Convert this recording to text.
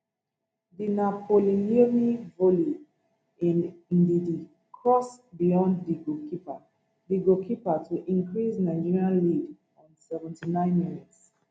di napoliloanee volley in ndidi cross beyond di goalkeeper di goalkeeper to increase nigeria lead on seventy minutes